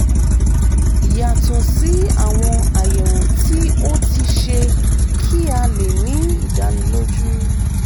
yàtọ̀ sí àwọn àyẹ̀wò tí o ti ṣe kí a lè ní ìdánilójú